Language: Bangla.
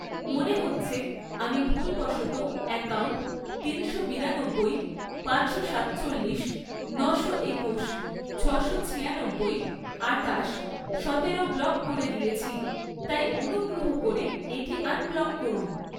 মনে হচ্ছে আমি ভুলবশত অ্যাকাউন্ট তিনশো বিরানব্বই, পাঁচশো সাতচল্লিশ, নশো একুশ, ছশো ছিয়ানব্বই, আটাশ, সতেরো ব্লক করে দিয়েছি, তাই অনুগ্রহ করে এটি আনব্লক করুন।